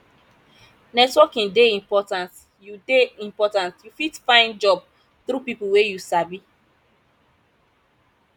networking dey important you dey important you fit find job through pipo wey you sabi